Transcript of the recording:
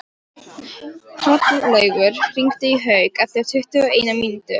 Hrollaugur, hringdu í Hauk eftir tuttugu og eina mínútur.